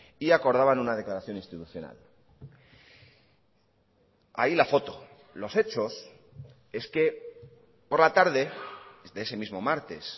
y acordaban una declaración institucional ahí la foto los hechos es que por la tarde de ese mismo martes